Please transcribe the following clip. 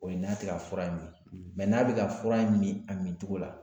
O ye n'a tɛ ka fura in min n'a bɛ ka fura in min a min tɔgɔ la